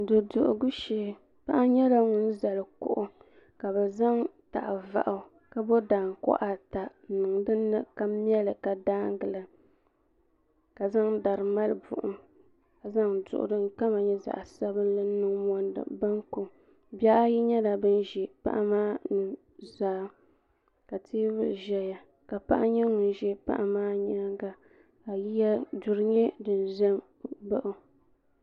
duduhigu shee paɣa nyɛla ŋun zali kuɣu ka bɛ zaŋ tah' vaɣu ka bɔ daankuɣa ata n-niŋ dini ka mɛ li ka daangi la ka zaŋ dari mali buɣim ka zaŋ duɣu din kama nyɛ zaɣ' sabinli n-niŋ mondi baŋku bihi ayi nyɛla bɛ ʒi paɣa maa nu' zaa ka teebuli ʒeya ka paɣa nyɛ ŋun ʒi paɣa maa nyaaga ka duri nyɛ din ʒe m-baɣi o.